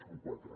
són quatre